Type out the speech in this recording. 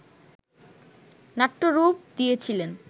নাট্যরূপ দিয়েছিলেন